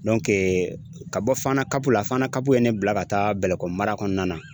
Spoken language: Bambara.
ka bɔ fana la fana ye ne bila ka taa bɛlɛkɔ mara kɔnɔna na.